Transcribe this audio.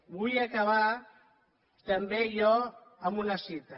vull acabar també jo amb una cita